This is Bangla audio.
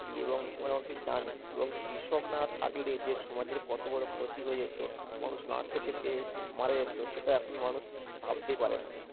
জি এবং জানি কৃষক না থাকলে যে সমাজের কত বড় ক্ষতি হয়ে যেতো এবং মানুষ না খেতে পেয়ে মারা যেতো, সেটা এখন মানুষ ভাবতেই পারে না